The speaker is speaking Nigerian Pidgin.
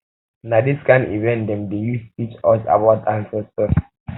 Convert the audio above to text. na dis kain event dem dey use teach us about our ancestors